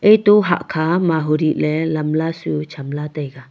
eto hahkho mahu dih ley lamla su chamla taiga.